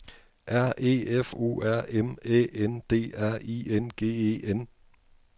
R E F O R M Æ N D R I N G E N